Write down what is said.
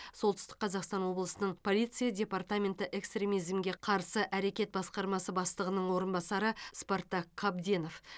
солтүстік қазақстан облысының полиция департаменті экстремизмге қарсы әрекет басқармасы бастығының орынбасары спартак қабденов